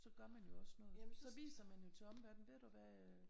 Så gør man jo også noget. Så viser man jo til omverdenen ved du hvad øh